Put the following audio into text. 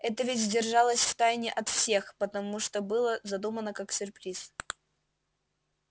это ведь держалось от всех в тайне потому что было задумано как сюрприз